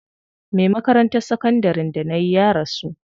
Me makarantar sakandarin da nayi ya rasu.